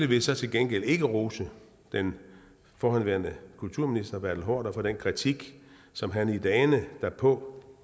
vil så til gengæld ikke rose den forhenværende kulturminister bertel haarder for den kritik som han i dagene derpå